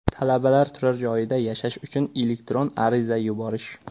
Talabalar turar joyida yashash uchun elektron ariza yuborish .